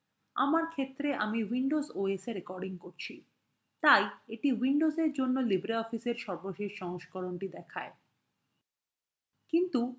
আমার ক্ষেত্রে আমি windows os এ recording করছি তাই এটি windows জন্য libreoffice in সর্বশেষ সংস্করণটি দেখায়